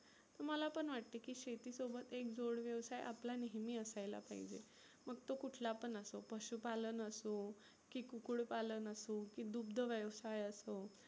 मला पण वाटतं की शेती सोबत एक जोड व्यवसाय आपला नेहमी असायला पाहीजे. मग तो कुठला पण असो, पशुपालन असो की, कुकुड पालन असो, की दुग्ध व्यवसाय असो